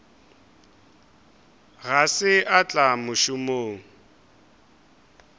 ga se a tla mošomong